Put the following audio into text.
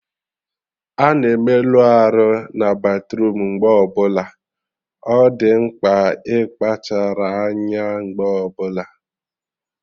Ana emelụ arụ na batruum mgbe ọbụla, ọ dị mkpa ịkpachara anya mgbe ọbụla